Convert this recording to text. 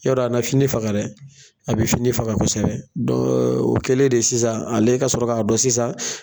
Ya dɔ a na fini faga dɛ? A be fini faga kosɛbɛ o kɛlen de sisan ale ka sɔrɔ ka dɔn sisan